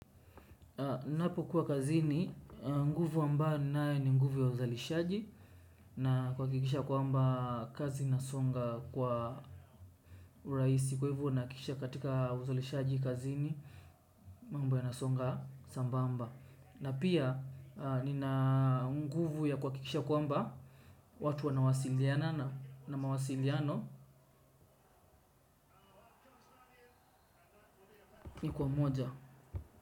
Napokuwa kazini, nguvu ambayo ninayo ni nguvu ya uzalishaji na kuhakikisha kwamba kazi inasonga kwa urahisi. Kwa hivyo nahakikisha katika uzalishaji kazini mambo yanasonga sambamba. Na pia nina nguvu ya kuhakikisha kwamba watu wanawasilianana na mawasiliano. Ni kwa moja.